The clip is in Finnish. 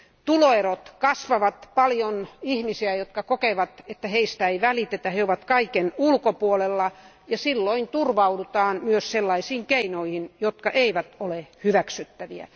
Tuloerot kasvavat, on paljon ihmisiä, jotka kokevat, että heistä ei välitetä, että he ovat kaiken ulkopuolella, ja silloin turvaudutaan myös sellaisiin keinoihin, jotka eivät ole hyväksyttäviä.